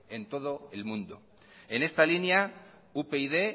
en todo el mundo en esta línea upyd